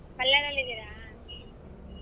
ಬಳ್ಳಾರಿಯಲ್ಲಿದಿರಾ?